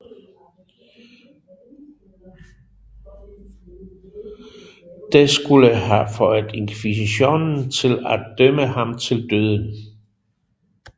Det skulle have fået inkvisitionen til at dømmet ham til døden